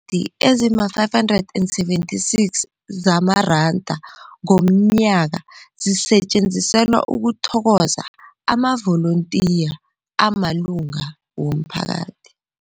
di ezima-576 zamaranda ngomnyaka zisetjenziselwa ukuthokoza amavolontiya amalunga womphakathi.